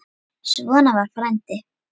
Svona var frændi.